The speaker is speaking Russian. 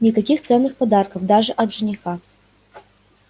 никаких ценных подарков даже от жениха